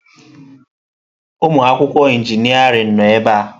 Ụmụ akwụkwọ injịniarịn nọ ebe a.